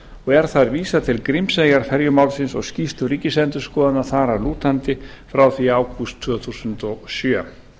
er þar vísað til grímseyjarferjumálsins og skýrslu ríkisendurskoðunar frá því í ágúst tvö þúsund og sjö